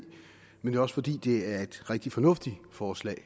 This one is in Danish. men det er også fordi det er et rigtig fornuftigt forslag